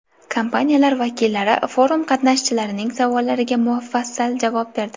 Kompaniyalar vakillari forum qatnashchilarining savollariga mufassal javob berdi.